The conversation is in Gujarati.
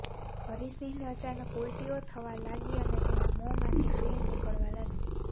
હરિ સિંહને અચાનક ઉલ્ટીઓ થવા લાગી અને તેના મોં માંથી ફીણ નીકળવા લાગ્યું